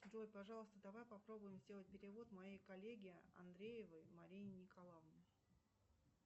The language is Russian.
джой пожалуйста давай попробуем сделать перевод моей коллеге андреевой марине николаевне